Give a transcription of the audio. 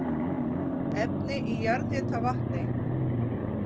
Efni í jarðhitavatni